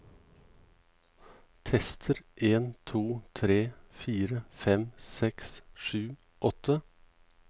Tester en to tre fire fem seks sju åtte